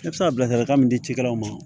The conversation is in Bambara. I bɛ se ka bilasiralikan min di cikɛlaw ma